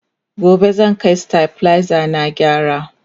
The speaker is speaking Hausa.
gobe zan Kai stabilizer na gyara